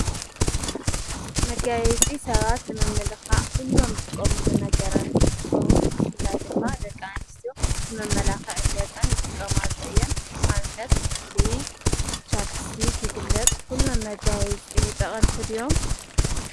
መጋይጺ ሰባት መምልኻ ዂሎም ዝጥቆምሉ ነገራን ትኹኑ ሕናይ ድማ ደቃንስ መመላኻ ዕ ገጸን ይጥቀማሎ እየን ኣብነት ኽሕል ቻብስትክ ኪጥቀማሉ ኲሎም መጋይፂ ጠቕንምቲ ድዮም?